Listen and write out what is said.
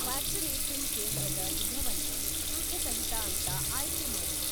Vaccination ಕೇಂದ್ರದ ವಿಧವನ್ನ ಶುಲ್ಕಸಹಿತ ಅಂತ ಆಯ್ಕೆ ಮಾಡು.